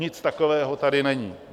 Nic takového tady není.